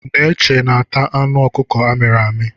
Neche na-ata anụ ọkụkụ amịrị amị.